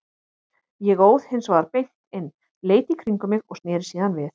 Ég óð hins vegar beint inn, leit í kringum mig og sneri síðan við.